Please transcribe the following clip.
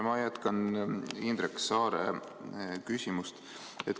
Ma jätkan Indrek Saare küsimust.